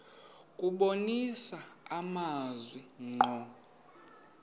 kubonisa amazwi ngqo